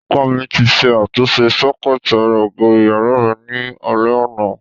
Ọkọ mi ti ṣe àtúnṣe sọ́kẹ́ẹ̀tì ara ògiri ìyàrá mi ní alẹ́ àná.